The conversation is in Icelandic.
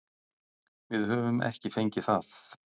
Við höfum ekki fengið það.